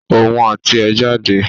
Òun àti ẹ̀ jáde